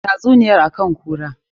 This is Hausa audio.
Tatsuniyar akan kunkura.